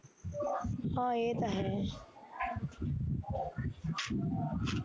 ਹਾਂ ਏਹ ਤਾਂ ਹੈ